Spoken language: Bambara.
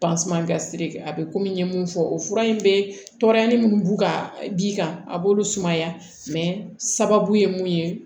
a bɛ komi n ye mun fɔ o fura in bɛ tɔɔrɔya minnu b'u ka d'i kan a b'olu sumaya sababu ye mun ye